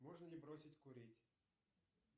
можно ли бросить курить